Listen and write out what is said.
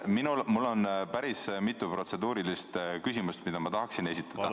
Minul on päris mitu protseduurilist küsimust, mida ma tahaksin esitada.